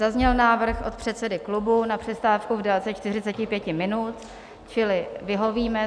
Zazněl návrh od předsedy klubu na přestávku v délce 45 minut, čili vyhovíme.